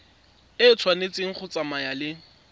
e tshwanetse go tsamaya le